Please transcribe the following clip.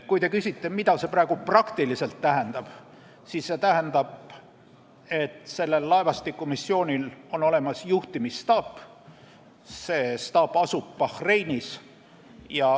Kui te küsite, mida see praegu praktiliselt tähendab, siis see tähendab, et sellel laevastikumissioonil on olemas juhtimisstaap, mis asub Bahreinis.